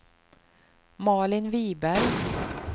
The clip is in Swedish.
Malin Viberg